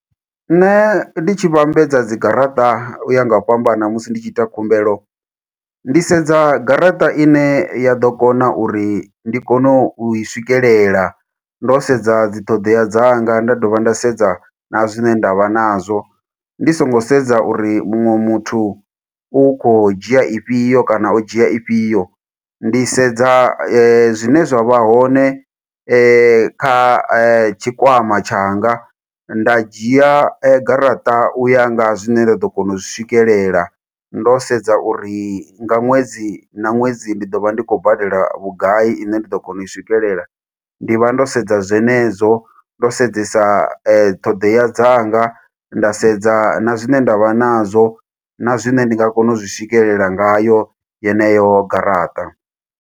Nṋe ndi tshi vhambedza dzigaraṱa u ya nga u fhambana, musi ndi tshi ita khumbelo. Ndi sedza garaṱa ine ya ḓo kona uri ndi kone u i swikelela, ndo sedza dziṱhoḓea dzanga, nda dovha nda sedza na zwine ndavha nazwo. Ndi songo sedza uri muṅwe muthu u khou dzhia ifhio, kana o dzhia ifhio. Ndi sedza zwine zwa vha hoṋe kha tshikwama tshanga. Nda dzhia garaṱa u ya nga zwine nda ḓo kona u zwi swikelela. Ndo sedza uri nga ṅwedzi na ṅwedzi ndi ḓo vha ndi khou badela vhugai, ine nda ḓo kona u i swikelela. Ndi vha ndo sedza zwenezwo, ndo sedzesa ṱhoḓea dzanga. Nda sedza na zwine ndavha nazwo na zwine ndi nga kona u zwi swikelela ngayo yeneyo garaṱa.